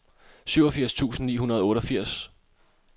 syvogfirs tusind ni hundrede og otteogfirs